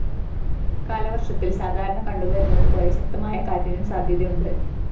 കാലവര്‍ഷത്തില്‍ സാധാരണ കണ്ടുവരുന്നതു പോലെ ശക്തമായ കാറ്റിനും സാധ്യതയുണ്ട്